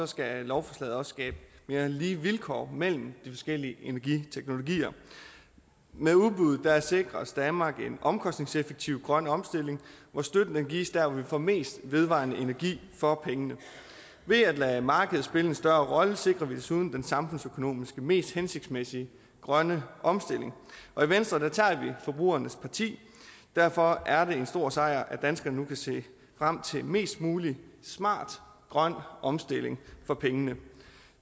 skal lovforslaget også skabe mere lige vilkår mellem de forskellige energiteknologier med udbudet sikres danmark en omkostningseffektiv grøn omstilling hvor støtten gives der hvor vi får mest vedvarende energi for pengene ved at lade markedet spille en større rolle sikrer vi desuden den samfundsøkonomisk mest hensigtsmæssige grønne omstilling og i venstre tager vi forbrugernes parti derfor er det en stor sejr at danskerne nu kan se frem til mest mulig smart grøn omstilling for pengene